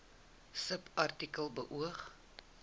subartikel beoog